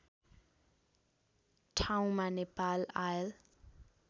ठाउँमा नेपाल आयल